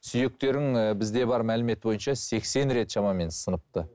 сүйектерің і бізде бар мәлімет бойынша сексен рет шамамен сыныпты